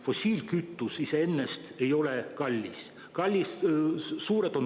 Fossiilkütus iseenesest ei ole kallis, aga maksud on suured.